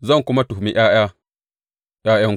Zan kuma tuhumi ’ya’ya ’ya’yanku.